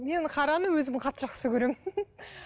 мен қараны өзім қатты жақсы көремін